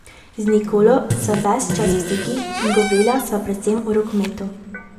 Z Nikolo sva ves čas v stikih in govorila sva predvsem o rokometu.